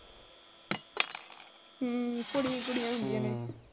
ਹਮ ਕੁੜੀਆਂ ਹੀ ਕੁੜੀਆਂ ਹੁੰਦੀਆਂ ਨੇ।